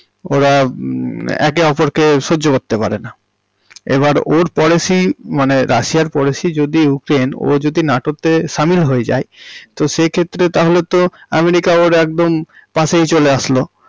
ওরা মম একে অপরকে সহ্য করতে পারেনা, এবার ওর policy মানে রাশিয়া এর policy যদি ইউক্রেইন, ও যদি নাটো তে সামিল হয়ে যায় তো সেই ক্ষেত্রে তাহলে তো আমেরিকা ওর একদম পাশেই চলে আসলো